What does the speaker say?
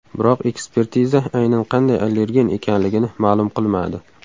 Biroq ekspertiza aynan qanday allergen ekanligini ma’lum qilmadi.